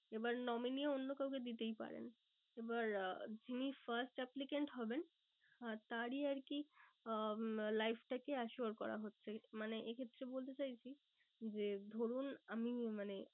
এবার nominee অন্য কাউকে দিতেই পারেন। এবার আহ যিনি first applicant হবেন তারই আর কি আহ life টাকে assure করা হচ্ছে। মানে এ ক্ষেত্রে বলতে চাইছি যে ধরুন আমি মানে